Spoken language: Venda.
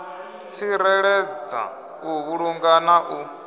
tsireledza u vhulunga na u